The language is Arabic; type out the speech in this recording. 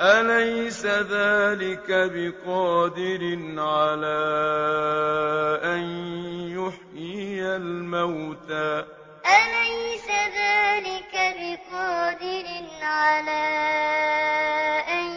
أَلَيْسَ ذَٰلِكَ بِقَادِرٍ عَلَىٰ أَن يُحْيِيَ الْمَوْتَىٰ أَلَيْسَ ذَٰلِكَ بِقَادِرٍ عَلَىٰ أَن